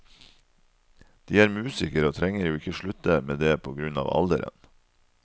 De er musikere og trenger jo ikke slutte med det på grunn av alderen.